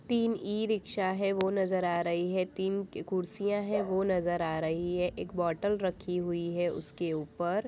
तीन ई-रिक्शा है वो नजर आ रही है तीन कुर्सियां हैं वो नजर आ रही है एक बोटल रखी हुई है उसके ऊपर।